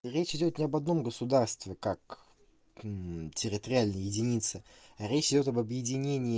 речь идёт не об одном государстве как территориальная единица речь идёт об объединении